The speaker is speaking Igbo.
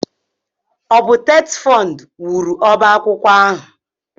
Ọ bụ TETFUND wuru ọbá akwụkwọ ahụ?